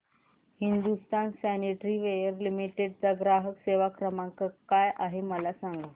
Hindustan sanitary ware limited चा ग्राहक सेवा क्रमांक काय आहे मला सांगा